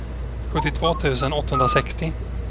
sjuttiotvå tusen åttahundrasextio